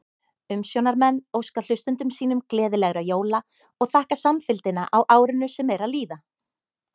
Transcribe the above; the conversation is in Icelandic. Umsjónarmenn óska hlustendum sínum gleðilegra jóla og þakka samfylgdina á árinu sem er að líða!